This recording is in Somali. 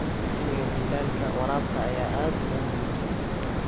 Xilliga jiilaalka, waraabka ayaa aad uga muhiimsan.